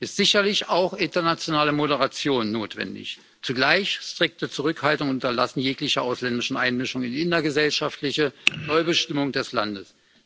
ist sicherlich auch internationale Moderation notwendig, zugleich strikte Zurückhaltung und Unterlassen jeglicher ausländischen Einmischung in die innergesellschaftliche Neubestimmung des Landes.